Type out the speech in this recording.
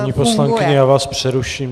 Paní poslankyně, já vás přeruším.